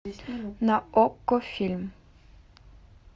на окко фильм